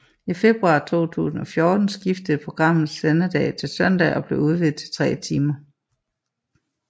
I februar 2014 skiftede programmet sendedag til søndage og blev udvidet til tre timer